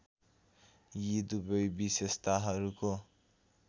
यी दुवै विशेषताहरूको